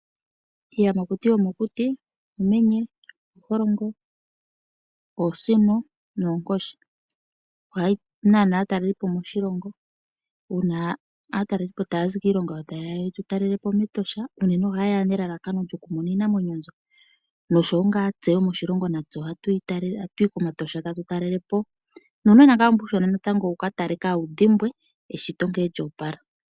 Iiyamakuti yomokuti uumenye, ooholongo, oosino noonkoshi. Ohayi nana aatalelipo moshilongo uuna aatalelipo ta ya zi kiilongo yawo ta yeya yetu talelepo mEtosha, unene ohaye ya nelalakano lyokumona iinamwenyo mbyoka, noshowo nga tse yo moshilongo ohatu yi komatosha ta tu talelepo. Nuunona ngaa mbu uushona natango wu ka tale kawu dhimbwe eshito nkene lya opala.